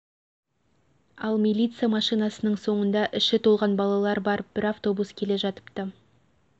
ал миллиция машинасының соңында іші толған балалар бар бір автобус келе жатыпты